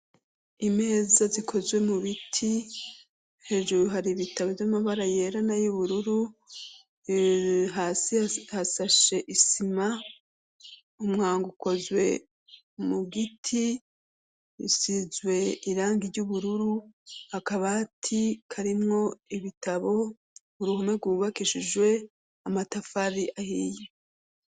Imeza zikozwe mu biti hejuru hari ibitabo vy'amabara yerana y'ubururu hasi hasashe isima umwango ukozwe mu giti isizwe irangi ry'ubururu akabati karimwo ibitabo uruhome rw' uwubakishijwe amatafari ahiye.